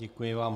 Děkuji vám.